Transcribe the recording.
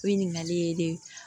Ɲininkali ye ne